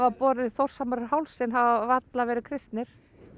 borið Þórshamar um hálsinn hafa varla verið kristnir